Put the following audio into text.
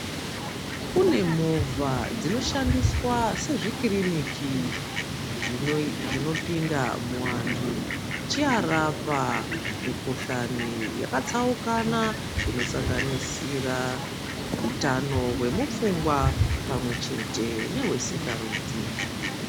Kune movha dzinoshandiswa sezvikiriniki zvino zvinopinda muantu zvicharapa mikhuhlani yakatsaukana inosanganisira utano hwemupfungwa pamwe nehwesikarudzi.